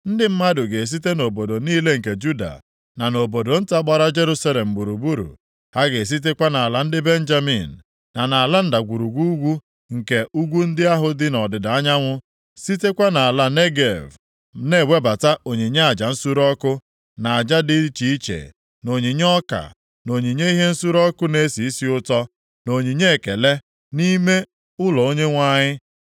Ndị mmadụ ga-esite nʼobodo niile nke Juda, na nʼobodo nta gbara Jerusalem gburugburu; ha ga-esitekwa nʼala ndị Benjamin, na nʼala ndagwurugwu nke ugwu ndị ahụ dị nʼọdịda anyanwụ, sitekwa nʼala Negev, na-ewebata onyinye aja nsure ọkụ, na aja dị iche iche, na onyinye ọka, na onyinye ihe nsure ọkụ na-esi isi ụtọ, na onyinye ekele, nʼime ụlọ Onyenwe anyị.